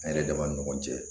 An yɛrɛ dama ni ɲɔgɔn cɛ